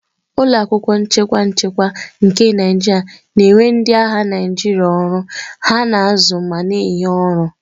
Ụlọ akwụkwọ nchekwa nchekwa nke Naijiria na-ewe ndị agha Naijiria ọrụ, na-azụ ma na-enye ọrụ